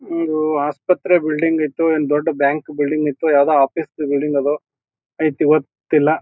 ಒಂದು ಆಸ್ಪತ್ರೆ ಬಿಲ್ಡಿಂಗ್ ಇತ್ತು ಅಂಡ್ ದೊಡ್ಡ್ ಬ್ಯಾಂಕ್ ಬಿಲ್ಡಿಂಗ್ ಇತ್ತು ಯಾವುದೊ ಆಫೀಸ್ ದು ಬಿಲ್ಡಿಂಗ್ ಆದವು ಐತ್ ಇವತ್ತೆಲ್ಲಾ --